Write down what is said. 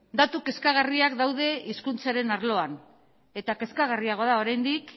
datu kezkagarriak daude hizkuntzaren arloan eta kezkagarriagoa da oraindik